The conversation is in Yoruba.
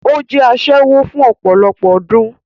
Ó jẹ́ asẹ́wó fún ọpọ̀lọpọ̀ ọdún